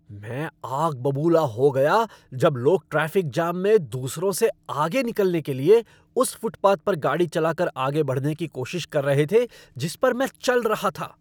मैं आग बबूला हो गया जब लोग ट्रैफ़िक जाम में दूसरों से आगे निकलने के लिए उस फ़ुटपाथ पर गाड़ी चला कर आगे बढ़ने की कोशिश कर रहे थे जिस पर मैं चल रहा था।